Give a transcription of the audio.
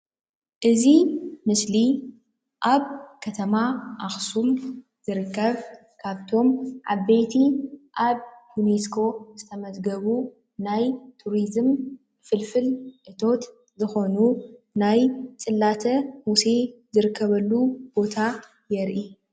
እዚ ምስሊ ኣብ ከተማ ኣክሱም ዝርከብ ካብቶም ዓበይቲ ኣብ ዩንስኮ ዝተመዝገቡ ናይ ቱሪዝም ፍልፍል እቶት ዝኮኑ ናይ ፅላተ ሙሴ ዝርከበሉ ቦታ የርኢ።